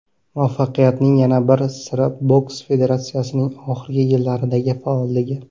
Muvaffaqiyatning yana bir siri boks federatsiyasining oxirgi yillardagi faolligi.